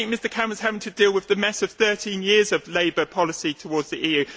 I think Mr Cameron has to deal with the mess of 13 years of Labour policy towards the EU.